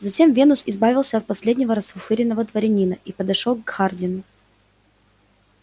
затем венус избавился от последнего расфуфыренного дворянина и подошёл к хардину